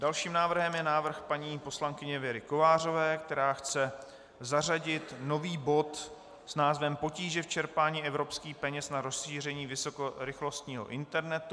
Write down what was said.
Dalším návrhem je návrh paní poslankyně Věry Kovářové, která chce zařadit nový bod s názvem Potíže v čerpání evropských peněz na rozšíření vysokorychlostního internetu.